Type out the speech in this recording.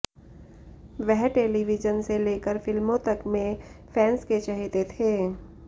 वह टेलीविजन से लेकर फिल्मों तक में फैंस के चहेते थे